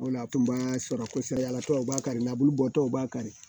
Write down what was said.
O le la a tun b'a sɔrɔ kosɛbɛ yalatɔ u b'a kari la bulubɔtɔw b'a kari